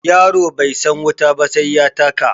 Yaro bai san wuta ba sai ya taka.